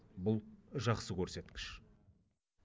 бұл жақсы көрсеткіш